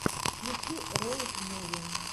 включи роуд муви